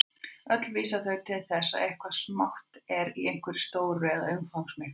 Öll vísa þau til þess að eitthvað smátt er í einhverju stóru eða umfangsmiklu.